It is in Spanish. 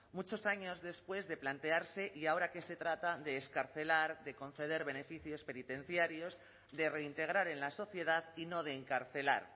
muchos años después de plantearse y ahora que se trata de excarcelar de conceder beneficios penitenciarios de reintegrar en la sociedad y no de encarcelar